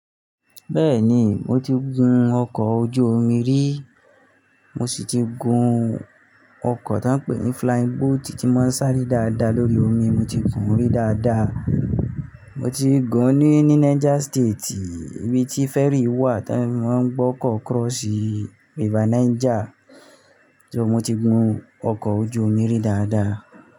Bẹ́ẹ̀ni, mo ti gun ọkọ̀ ojú omi rí, mo sì ti gun ọkọ̀ tó ń pè ní flying boat tí ń máa ń sáré dáadáa lórí omi, mo ti gun rí dáadáa. Mo ti gun ní, ní Niger State ibi tí fẹ́rì wà tí wọ́n máa ń gbọ́kọ̀ cross River Niger. So mo ti gun ọkọ̀ ojú omi rí dáadáa.